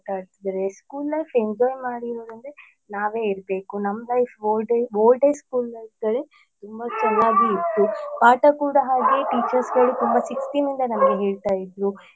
ಆಟಾಡ್ತಿದ್ದಾರೆ school life enjoy ಮಾಡಿರುದಂದ್ರೆ ನಾವೇ ಇರ್ಬೇಕು ನಮ್ಮ್ life old day school lifeಗಳೇತುಂಬ ಚನ್ನಾಗಿ ಇತ್ತು ಪಾಠ ಕೂಡ ಹಾಗೆ teachersಗಳು ತುಂಬ ಶಿಸ್ತಿನಿಂದ ನಮಗೆ ಹೇಳ್ತಾ ಇದ್ರು.